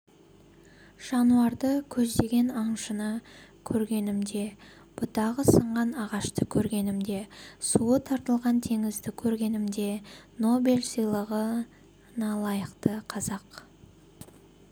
жануарды көздеген аңшыны көргенімде бұтағы сынған ағашты көргенімде суы тартылған теңізді көргенімде нобель сыйлығына лайықты қазақ